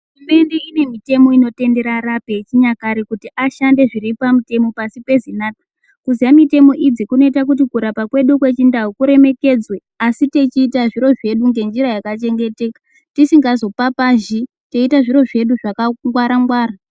........ Inemitemo inotendera arapike yechinyakare kuti ashande zviripamutemo pasi peZINARA, kuziya mitemo idzi kunoita kuti kurapa kwedu kwechindau kuremekedzwe asi techiita zviro zvedu ngenjira yakachengeteka tisingazo papazhi teiita zviro zvedu zvakangwara ngwara.